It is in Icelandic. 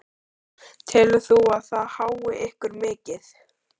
Telur þú að það hái ykkur mikið?